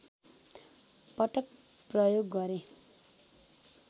पटक प्रयोग गरे